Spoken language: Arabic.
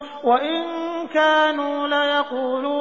وَإِن كَانُوا لَيَقُولُونَ